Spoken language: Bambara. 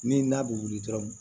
Ni n'a bɛ wuli dɔrɔn